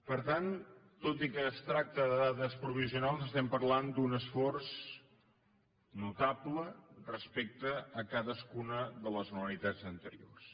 per tant tot i que es tracta de dades provisionals estem parlant d’un esforç notable respecte a cadascuna de les anualitats anteriors